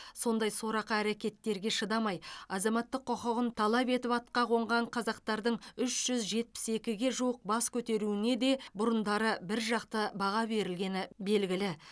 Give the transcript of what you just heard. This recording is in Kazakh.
сондай сорақы әрекеттерге шыдамай азаматтық құқығын талап етіп атқа қонған қазақтардың үш жүз жетпіс екіге жуық бас көтеруіне де бұрындары бір жақты баға берілгені белгілі